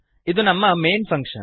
ಅದು ನಮ್ಮ main function